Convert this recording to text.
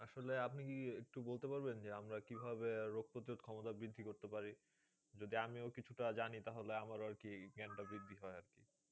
আসলে আপনি একটু বলতে পারবেন যে, আমরা কীভাবে রোগ প্রতিরোধ ক্ষমতা বৃদ্ধি করতে পারি? যদিও আমিও কিছুটা জানি তাহলে আমারও আরকি জ্ঞানটা বৃদ্ধি পায় আরকি।